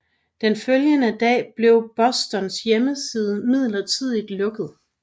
Den følgende dag blev Bostons hjemmeside midlertidigt lukket